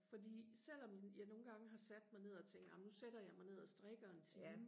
fordi selvom jeg nogle gange har sat mig ned og tænkt amen nu sætter jeg mig ned og strikker en time